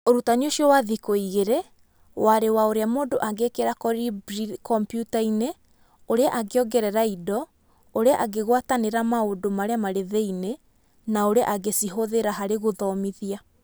Ũrutani ũcio wa thikũ igĩrĩ warĩ wa ũrĩa mũndũ angĩkĩra Kolibri kompiuta-inĩ, ũrĩa angĩongerera indo, ũrĩa angĩgwatanĩra maũndũ marĩa marĩ thĩinĩ na ũrĩa angĩcihũthĩra harĩ gũthomithia.